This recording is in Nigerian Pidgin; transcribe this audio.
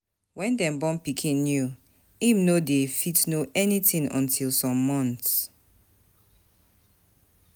When dem born pikin new im no dey fit know anything until some months